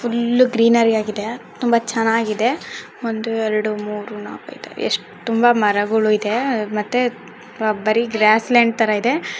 Full greenery ಆಗಿದೆ ತುಂಬಾ ಚೆನ್ನಾಗಿದೆ ಒಂದು ಎರಡು ಮೂರು ನಾಲ್ಕು ಐದು ಎಷ್ಟು ತುಂಬಾ ಮರಗಳು ಇದೆ ಮತ್ತೆ ಬರೀ ಗ್ರಾಸ್ ಲ್ಯಾಂಡ್ ತರ ಇದೆ.